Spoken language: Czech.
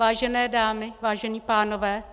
Vážené dámy, vážení pánové.